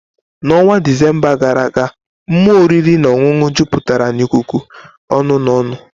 N'ọnwa Disemba gara aga, mmụọ oriri na ọṅụṅụ jupụtara n'ikuku ọṅụ na ọñụ.